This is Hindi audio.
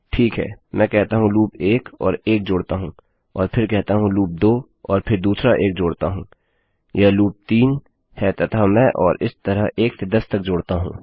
ठीक है मैं कहता हूँ लूप 1 और 1 जोडता हूँ और फिर कहता हूँ लूप 2 और फिर दूसरा 1 जोड़ता हूँयह लूप 3 है तथा मैं और इस तरह 1 से 10 तक जोड़ता हूँ